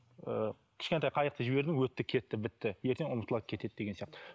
ыыы кішкентай қайықты жібердің өтті кетті бітті ертең ұмытылады кетеді деген сияқты